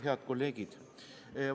Head kolleegid!